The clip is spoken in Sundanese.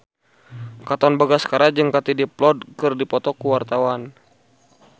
Katon Bagaskara jeung Katie Dippold keur dipoto ku wartawan